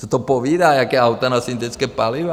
Co to povídá, jaká auta na syntetická paliva?